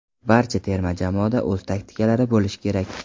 Barcha terma jamoada o‘z taktikalari bo‘lishi kerak.